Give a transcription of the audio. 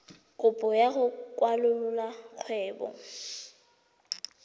kopo ya go kwalolola kgwebo